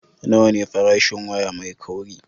Nawa ne farashin waya mai kauri?